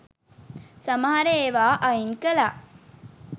සමහර ඒවා අයින් කළා.